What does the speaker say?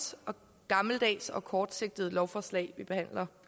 og gammeldags og kortsigtet lovforslag vi behandler